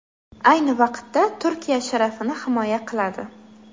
Ayni vaqtda Turkiya sharafini himoya qiladi.